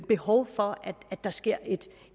behov for at der sker et